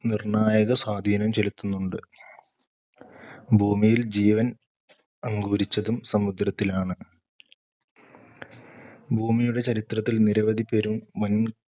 നിർണ്ണായകസ്വാധീനം ചെലുത്തുന്നുണ്ട്. ഭൂമിയിൽ ജീവൻ അങ്കുരിച്ചതും സമുദ്രത്തിലാണ്. ഭൂമിയുടെ ചരിത്രത്തിൽ, നിരവധി പെരും വന്‍